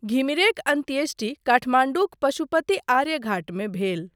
घिमिरेक अन्त्येष्टी काठमाण्डूक पशुपति आर्यघाटमे भेल।